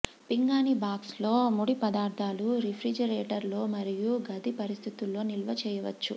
పింగాణీ box లో ముడి పదార్థాలు రిఫ్రిజిరేటర్ లో మరియు గది పరిస్థితుల్లో నిల్వ చేయవచ్చు